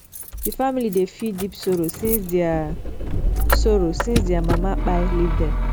di family dey feel deep sorrow since their sorrow since their mama kpai leave dem